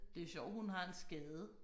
Det sjovt hun har en skade